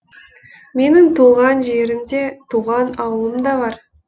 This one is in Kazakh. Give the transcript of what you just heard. менің туған жерім де туған ауылым да бар